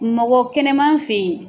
Mɔgɔ kɛnɛma fɛ yen.